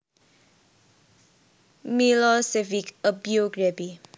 Milosevic A Biography